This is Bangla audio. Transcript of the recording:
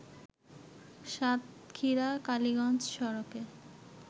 সাতক্ষীরা কালিগঞ্জ সড়কে